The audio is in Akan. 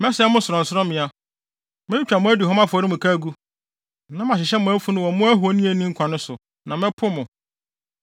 Mɛsɛe mo sorɔnsorɔmmea. Metwitwa mo aduhuam afɔremuka agu, na mahyehyɛ mo afunu wɔ mo ahoni a enni nkwa no so; na mɛpo mo.